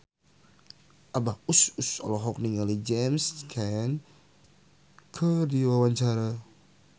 Abah Us Us olohok ningali James Caan keur diwawancara